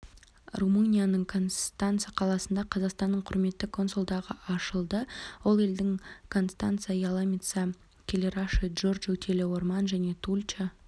румынияның констанца қаласында қазақстанның құрметті консулдығы ашылды ол елдің констанца яломица кэлэраши джурджу телеорман және тулча